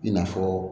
I n'a fɔ